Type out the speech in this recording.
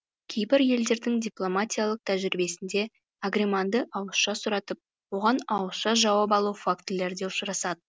кейбір елдердің дипломатиялық тәжірибесінде агреманды ауызша сұратып оған ауызша жауап алу фактілері де ұшырасады